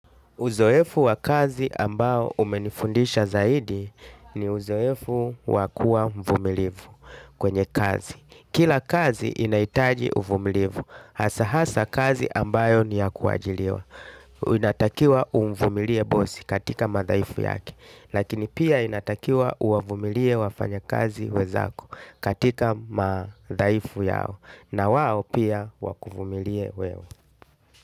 Uzoefu wa kazi ambao umenifundisha zaidi, ni uzoefu wakua mvumilivu kwenye kazi. Kila kazi inaitaji uvumilivu. Hasa hasa kazi ambayo ni ya kuajiriwa. Inatakiwa umvumilie bosi katika madhaifu yake. Lakini pia inatakiwa uwavumilie wafanyakazi wezako katika madhaifu yao. Na wao pia wakuvumilie wewe.